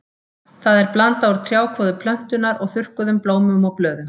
Það er blanda úr trjákvoðu plöntunnar og þurrkuðum blómum og blöðum.